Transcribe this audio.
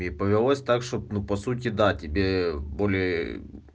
и повелось так чтобы ну по сути да тебе более